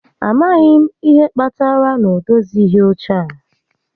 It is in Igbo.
A maghị m ihe kpatara na ọ dozighị óche a